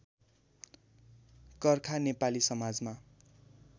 कर्खा नेपाली समाजमा